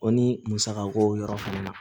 O ni musaka ko yɔrɔ fana na